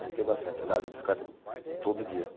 Brinquei bastante, andava de bicicleta todo dia.